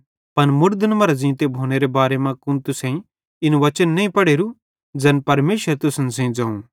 पन मुड़दन मरां ज़ींते भोनेरे बारे मां कुन तुसेईं इन वचन नईं पढ़ेरू ज़ैन परमेशर तुसन सेइं ज़ोवं